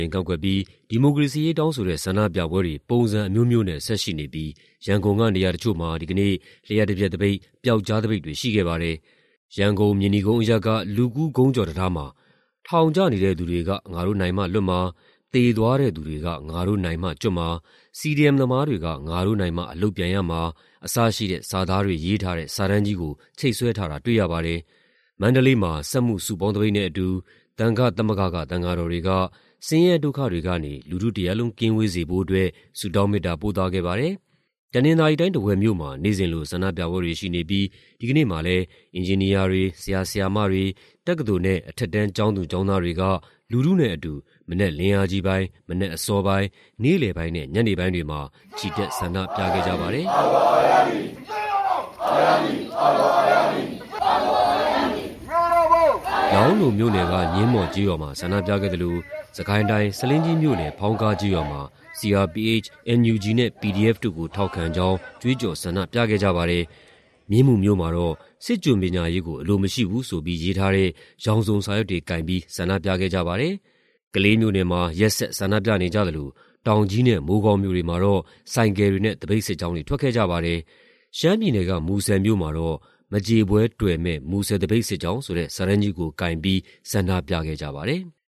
င်ကန့်ကွက်ပြီး ဒီမိုကရေစီရေး တောင်းဆိုတဲ့ ဆန္ဒပြပွဲတွေ ပုံစံအမျိုးမျိုးနဲ့ ဆက်ရှိနေပြီး ရန်ကုန်က နေရာတချို့မှာ ဒီကနေ့ လျှပ်တပြက်သပိတ်၊ ပြောက်ကျားသပိတ်တွေ ရှိခဲ့ပါတယ်။ ရန်ကုန်၊ မြေနီကုန်းအရပ်က လူကူးခုံးကျော်တံတားမှာ "ထောင်ကျနေတဲ့သူတွေက ငါတို့နိုင်မှလွတ်မှာ၊ သေသွားတဲ့သူတွေက ငါတို့နိုင်မှကျွတ်မှာ၊ CDM သမားတွေက ငါတို့နိုင်မှ အလုပ်ပြန်ရမှာ" အစရှိတဲ့ စာသားတွေ ရေးထားတဲ့ စာတန်းကြီးကို ချိတ်ဆွဲထားတာ တွေ့ရပါတယ်။ မန္တလေးမှာ စက်မှုစုပေါင်းသပိတ်နဲ့အတူ သံဃသမဂ္ဂက သံဃာတော်တွေက ဆင်းရဲဒုက္ခတွေကနေ လူထုတရပ်လုံး ကင်းဝေးစေဖို့အတွက် ဆုတောင်းမေတ္တာ ပို့သခဲ့ပါတယ်။ တနင်္သာရီတိုင်း၊ ထားဝယ်မြို့မှာ နေ့စဉ်လို ဆန္ဒပြပွဲတွေရှိနေပြီး ဒီကနေ့မှာလည်း အင်ဂျင်နီယာတွေ၊ ဆရာ ဆရာမတွေ၊ တက္ကသိုလ်နဲ့ အထက်တန်း ကျောင်းသူကျောင်းသားတွေက လူထုနဲ့အတူ မနက်လင်းအားကြီးပိုင်း၊ မနက်အစောပိုင်း၊ နေ့လယ်ပိုင်းနဲ့ ညနေပိုင်းတွေမှာ ချီတက် ဆန္ဒပြခဲ့ကြပါတယ်။ လောင်းလုံမြို့နယ်က ညင်းမော်ကျေးရွာမှာ ဆန္ဒပြခဲ့သလို စစ်ကိုင်းတိုင်း၊ ဆားလင်းကြီးမြို့နယ်၊ ဖောင်းကားကျေးရွာမှာ CRPH၊ NUG နဲ့ PDF တို့ကို ထောက်ခံကြောင်း ကြွေးကြော် ဆန္ဒပြခဲ့ကြပါတယ်။ မြင်းမူမြို့မှာတော့ စစ်ကျွန်ပညာရေးကို အလိုမရှိဘူးဆိုပြီး ရေးထားတဲ့ ရောင်စုံစာရွက်တွေကိုင်ပြီး ဆန္ဒပြခဲ့ကြပါတယ်။ ကလေးမြို့နယ်မှာ ရက်ဆက် ဆန္ဒပြနေကြသလို တောင်ကြီးနဲ့ မိုးကောင်းမြို့တွေမှာတော့ ဆိုင်ကယ်တွေနဲ့ သပိတ်စစ်ကြောင်း ထွက်ခဲ့ကြပါတယ်။ ရှမ်းပြည်နယ်က မူဆယ်မြို့မှာတော့ "မကြေပွဲတွယ်မယ့် မူဆယ်သပိတ်စစ်ကြောင်း" ဆိုတဲ့ စာတန်းကြီးကို ကိုင်ပြီး ဆန္ဒပြခဲ့ကြပါတယ်။